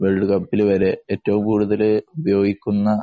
world കപ്പില് വരെ ഏറ്റവും കൂടുതല് ഉപയോഗിക്കുന്ന